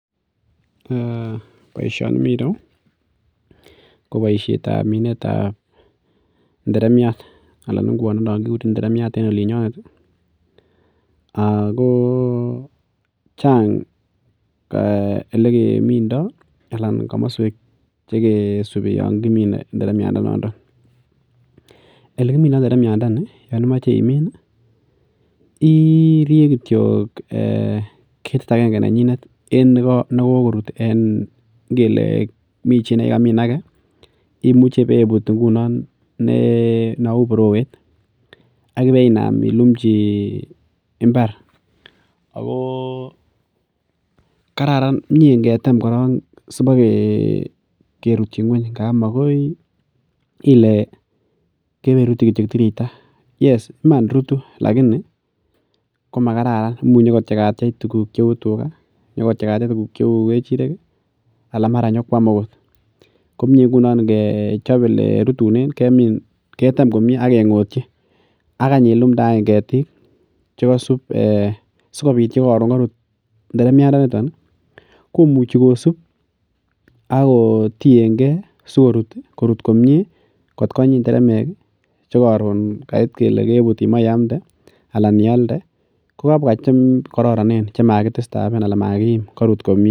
Eeh boisioni mireyu koboisietab minetab nderemiat alan ngwondenon kikureren nderemiat en olinyonet akooh chang olekemindoo alan komoswek chekisupi yon kimine nderemiat ndenoondo, olekimindoo nderemiandeni yon imoche imin irie kityok ee ketit akenge nenyitet en nekokorut en ngele mi chii nekokamin ake imuche ibebut ngunon nau borowet ak ibeinam ilumchi mbar akoo kararan mie ngetem korok sipokerutich ngweng ngap makoi ile kewerutyi kityok tiriyita yes iman rutu lakini komakararan imuch inyokotiechatich tukuk cheu tuka, inyokotiechatich cheu kechirek alan mara nyokwam akot ,ko mie ngunon ngechop olerutunen kemin ketem komie akengotyi akany ilumdee any ketik chekosup sikopit yekoron korut nderemiandenito komuchi kosup akotienge sikorut korut komie kot konyi nderemek chekoron kait kot kele kebut imach iamnde anan ialde kokabwa chekororonen 'chamakidisturben' alan makiim korut komie.